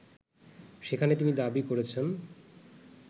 সেখানে তিনি দাবি করেছেন